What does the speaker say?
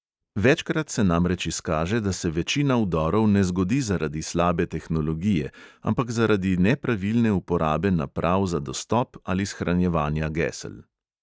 Večkrat se namreč izkaže, da se večina vdorov ne zgodi zaradi slabe tehnologije, ampak zaradi nepravilne uporabe naprav za dostop ali shranjevanja gesel.